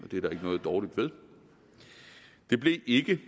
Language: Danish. og det er der ikke noget dårligt ved det blev ikke